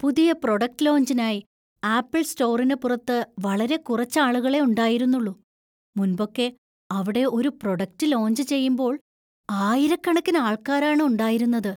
പുതിയ പ്രൊഡക്റ്റ് ലോഞ്ചിനായി ആപ്പിൾ സ്റ്റോറിന് പുറത്ത് വളരെ കുറച്ച് ആളുകളെ ഉണ്ടായിരുന്നുള്ളൂ, മുൻപൊക്കെ അവിടെ ഒരു പ്രൊഡക്റ്റ് ലോഞ്ച് ചെയ്യുമ്പോൾ ആയിരക്കണക്കിന് ആള്‍ക്കാരാണ് ഉണ്ടായിരുന്നത്.